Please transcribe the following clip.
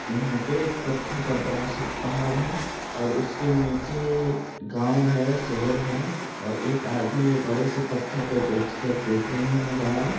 यहां पे एक पत्थर का बड़ा-सा पहाड़ है और उसके नीचे गांव है शहर है और एक आदमी ये बड़े से पत्थर पे बैठ कर देख रहे है नजारा।